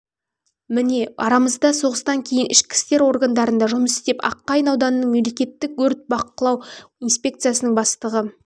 міне арамызда соғыстан кейін ішкі істер органдарында жұмыс істеп аққайың ауданының мемлекеттік өрт бақылау инспекциясының бастығы